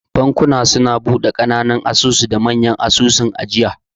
Bankuna suna bude kananan asusu da manya asusun ajiya.